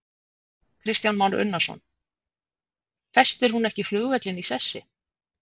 Kristján Már Unnarsson: Festir hún ekki flugvöllinn í sessi?